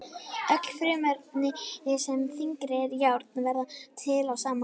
Öll frumefni sem eru þyngri en járn verða til á sama hátt.